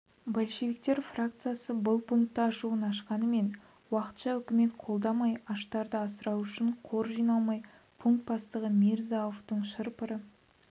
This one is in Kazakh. большевиктер фракциясы бұл пунктті ашуын ашқанмен уақытша үкімет қолдамай аштарды асырау үшін қор жиналмай пункт бастығы мирза-ауфтың шыр-пыры